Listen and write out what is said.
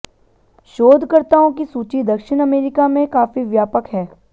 शोधकर्ताओं की सूची दक्षिण अमेरिका में काफी व्यापक है